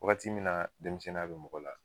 Wagati min denmisɛnninya bi mɔgɔ la